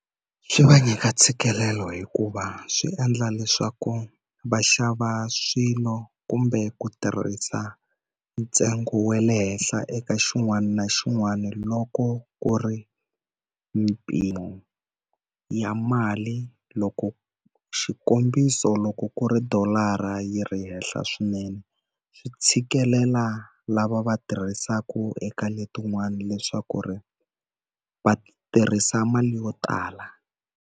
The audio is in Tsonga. Swi va nyika ntshikelelo hikuva swi endla leswaku va xava swilo kumbe ku tirhisa ntsengo wa le henhla eka xin'wana na xin'wana, loko ku ri mimpimo ya mali loko xikombiso loko ku ri dolara yi ri henhla swinene, swi tshikelela lava va tirhisaka eka letin'wani leswaku ri va tirhisa mali yo tala.